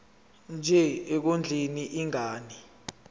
nje ekondleni ingane